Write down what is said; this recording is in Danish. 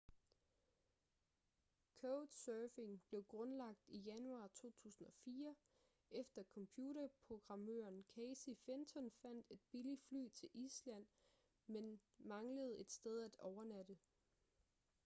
couchsurfing blev grundlagt i januar 2004 efter computerprogrammøren casey fenton fandt et billigt fly til island men manglede et sted at overnatte